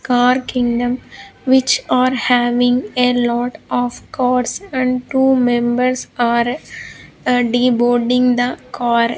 car kingdom which are having a lot of cars and two members are ah deboarding the car.